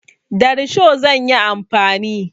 Da risho zan yi amfani.